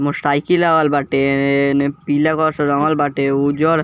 motor cycle लागल बाटे एने पीला कलर से रंगल बाटे उजर --